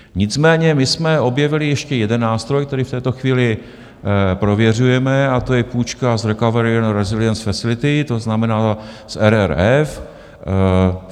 Nicméně my jsme objevili ještě jeden nástroj, který v této chvíli prověřujeme, a to je půjčka z Recovery and Resilience Facility, to znamená z RRF.